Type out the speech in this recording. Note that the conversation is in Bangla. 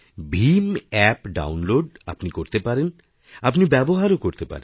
ভীম অ্যাপ আপনি ডাউনলোড করতেপারেন আপনি ব্যবহারও করতে পারেন